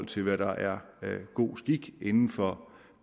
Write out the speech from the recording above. til hvad der er god skik inden for